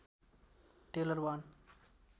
tailor one